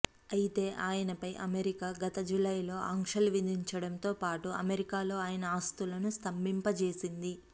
అయితే ఆయనపై అమెరికా గత జులైలో ఆంక్షలు విధించటంతో పాటు అమెరికాలో ఆయన ఆస్తులను స్థంభింప చేసింది